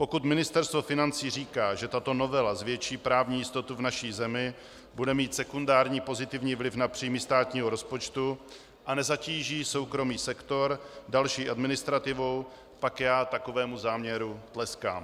Pokud Ministerstvo financí říká, že tato novela zvětší právní jistotu v naší zemi, bude mít sekundární pozitivní vliv na příjmy státního rozpočtu a nezatíží soukromý sektor další administrativou, pak já takovému záměru tleskám.